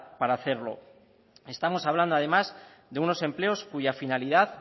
para hacerlo estamos hablando además de unos empleo cuya finalidad